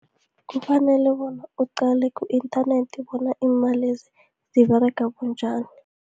Kufanele bona uqale ku-inthanethi, bona iimalezi ziberega bunjani.